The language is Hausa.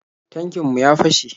Tankin mu ya fashe.